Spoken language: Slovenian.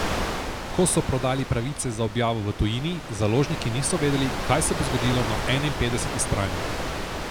Ko so prodali pravice za objavo v tujini, založniki niso vedeli, kaj se bo zgodilo na enainpetdeseti strani.